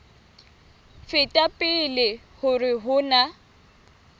feta pele hore ho na